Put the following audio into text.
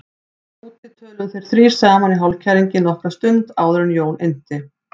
Þar úti töluðu þeir þrír saman í hálfkæringi nokkra stund áður en Jón innti